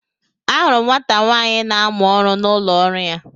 Ahụrụ m nwata nwaanyị na amụ ọrụ n'ụlọ ọrụ ya.